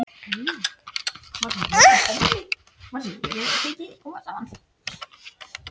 Ég bara. ég nennti ekki að hanga þarna niðri.